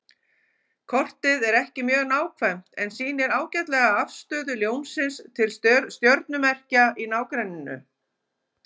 Kortið er ekki mjög nákvæmt en sýnir ágætlega afstöðu Ljónsins til stjörnumerkja í nágrenninu.